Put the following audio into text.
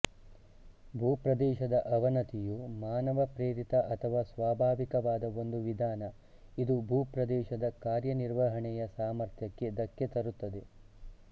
ಭೂ ಪ್ರದೇಶದ ಅವನತಿಯು ಮಾನವಪ್ರೇರೇಪಿತ ಅಥವಾ ಸ್ವಾಭಾವಿಕವಾದ ಒಂದು ವಿಧಾನ ಇದು ಭೂಪ್ರದೇಶದ ಕಾರ್ಯನಿರ್ವಹಣೆಯ ಸಾಮರ್ಥ್ಯಕ್ಕೆ ಧಕ್ಕೆ ತರುತ್ತದೆ